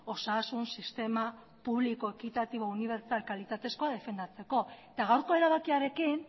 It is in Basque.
osasun sistema publiko ekitatibo unibertsal kalitatezkoa defendatzeko eta gaurko erabakiarekin